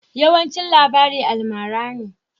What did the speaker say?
Yawancin labari almara ne.